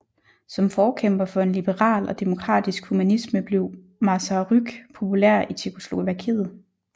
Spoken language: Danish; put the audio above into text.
Som forkæmper for en liberal og demokratisk humanisme blev Masaryk populær i Tjekkoslovakiet